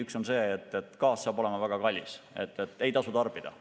Üks on see, et gaas saab olema väga kallis ja seda ei tasu tarbida.